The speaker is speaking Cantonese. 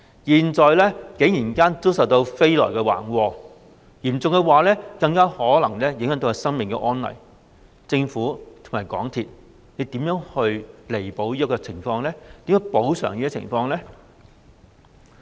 現在飛來橫禍，嚴重的話，更可能會影響生命安危，政府和港鐵公司會如何彌補這個情況並作出補償？